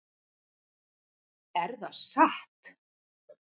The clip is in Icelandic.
Er það satt?